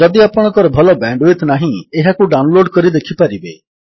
ଯଦି ଆପଣଙ୍କର ଭଲ ବ୍ୟାଣ୍ଡୱିଡଥ୍ ନାହିଁ ଏହାକୁ ଡାଉନଲୋଡ୍ କରି ଦେଖିପାରିବେ